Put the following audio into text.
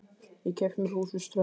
Ég keypti mér hús við ströndina.